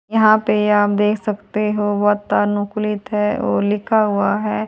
यहां पे आप देख सकते हो वातानुकूलित है वो लिखा हुआ है।